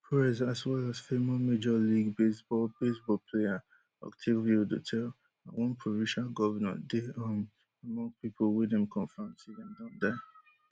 prez as well as former major league baseball baseball player octavio dotel and one provincial govnor dey um among pipo wey dem confam say dem don die